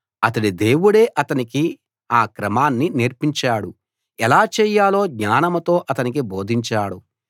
అతడి దేవుడే అతడికి ఆ క్రమాన్ని నేర్పించాడు ఎలా చేయాలో జ్ఞానంతో అతనికి బోధించాడు